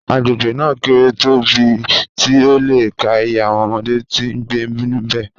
Agbegbe naa kere tobẹẹ ti o le ka iye awọn ọmọde ti ngbe nibẹ